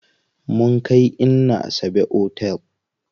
Mun kai inna Asabe otel.